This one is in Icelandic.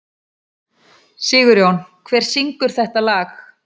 Sigjón, hver syngur þetta lag?